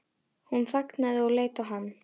Hún þagnaði og leit á hann.